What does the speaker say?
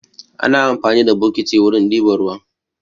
Ana amfani da bokiti wurin ɗiba ruwa.